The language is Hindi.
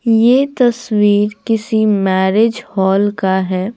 यह तस्वीर किसी मैरिज हॉल का है।